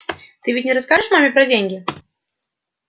ты ведь не расскажешь маме про деньги